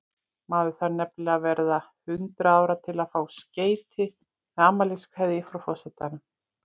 Maður þarf nefnilega að verða hundrað ára til að fá skeyti með afmæliskveðju frá forsetanum.